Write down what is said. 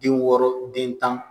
Den wɔɔrɔ den tan